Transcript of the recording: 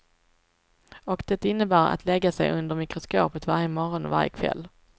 Och det innebar att lägga sig under mikroskopet varje morgon och varje kväll.